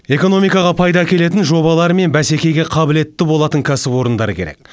экномикаға пайда әкелетін жобалар мен бәсекеге қабілетті болатын кәсіпорындар керек